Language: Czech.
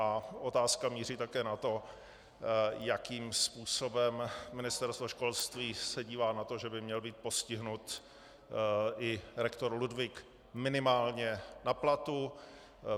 A otázka také míří na to, jakým způsobem Ministerstvo školství se dívá na to, že by měl být postihnut i rektor Ludwig minimálně na platu.